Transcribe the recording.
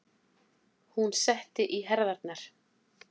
Hún setti í herðarnar.